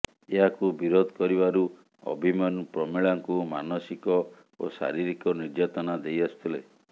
ଏହାକୁ ବିରୋଧ କରିବାରୁ ଅଭିମନ୍ୟୁ ପ୍ରମିଳାଙ୍କୁ ମାନସିକ ଓ ଶାରୀରିକ ନିର୍ଯାତନା ଦେଇ ଆସୁଥିଲା